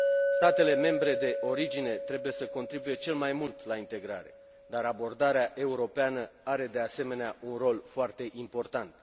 Statele membre de origine trebuie să contribuie cel mai mult la integrare, dar abordarea europeană are, de asemenea, un rol foarte important.